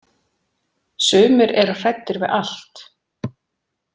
Sumir eru hræddir við allt.